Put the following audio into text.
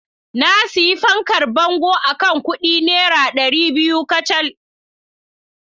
Na sayi fankar bango akan kudi naira dari biyu kacal.